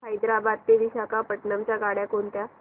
हैदराबाद ते विशाखापट्ण्णम च्या गाड्या कोणत्या